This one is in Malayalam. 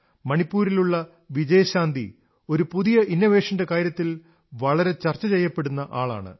മണിപ്പൂരിലുള്ള വിജയശാന്തി ഒരു പുതിയ നൂതനാശയത്തിന്റെ പേരിൽ വളരെ ചർച്ച ചെയ്യപ്പെടുന്ന ആളാണ്